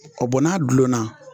O n'a dulonna.